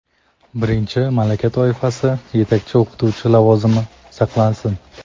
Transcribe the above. birinchi malaka toifasi (yetakchi o‘qituvchi lavozimi) saqlansin;.